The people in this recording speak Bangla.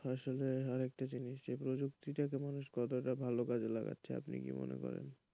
আসলে আরেকটা জিনিস যে প্রযুক্তিকে মানুষ কতটা ভালো কাজে লাগাচ্ছে আপনি কি মনে করেন?